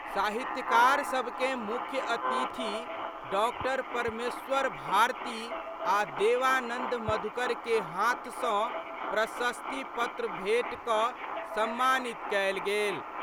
साहित्यकारसभकें मुख्य अतिथि डॉ परमेश्वर भारती आ' देवानंद मधुकर के हाथ सं प्रशस्ति पत्र भेंट क' सम्मानित कएल गेल।